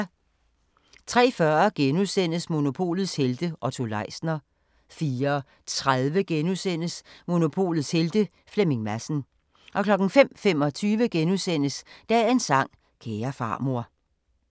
03:40: Monopolets helte - Otto Leisner * 04:30: Monopolets Helte – Flemming Madsen * 05:25: Dagens sang: Kære farmor *